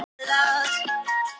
Sársauki í hverju skrefi.